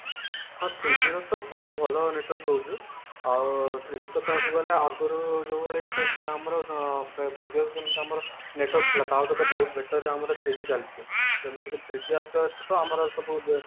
ହଁ three G ର ତ ବହୁତ ଭଲ network ରହୁଛି ଆଉ three G ତ କହିବାକୁ ଗଲେ ଆଗରୁ ଯୋଉଭଳି ଚାଲୁଥିଲା ଆମର ଅ ଆମର network ଥିଲା ତା ଠୁ ତ ବହୁତ better ଆମର three G ଚାଲିଛି ଏମିତିକି three G ଆସିବା ଠୁ ତ ଆମର ସବୁ